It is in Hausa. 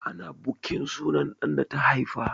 Ana bukin sunan ɗan da ta haifa.